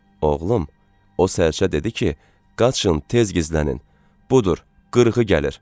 Oğlum, o sərçə dedi ki, qaçın tez gizlənin, budur qırğı gəlir.